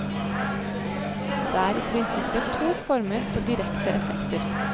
Det er i prinsippet to former for direkte effekter.